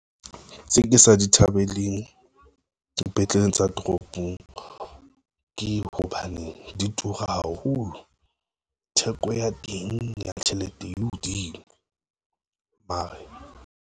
Tse ke sa di thabeleng, dipetleleng tsa toropong ke hobane di tura haholo. Theko ya teng ya tjhelete e hodimo mare.